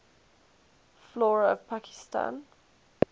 flora of pakistan